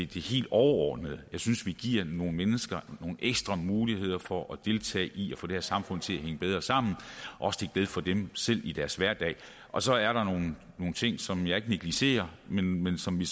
det helt overordnede jeg synes vi giver nogle mennesker nogle ekstra muligheder for at deltage i at få det her samfund til at hænge bedre sammen også til glæde for dem selv i deres hverdag og så er der nogle ting som jeg ikke negligerer men men som vi